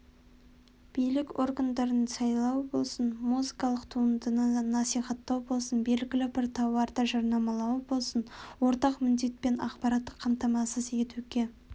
билік органдарын сайлау болсын музыкалық туындыны насихаттау болсын белгілі бір тауарды жарнамалау болсын ортақ міндет ақпараттық қамтамасыз етуге